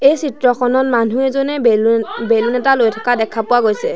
এই চিত্ৰখনত মানুহ এজনে বেলুন এটা লৈ থকা দেখা পোৱা গৈছে।